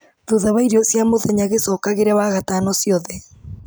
thutha wa irio cia mũthenya gĩcokagĩre wagatano ciothe